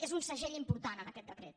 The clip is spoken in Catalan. és un segell important en aquest decret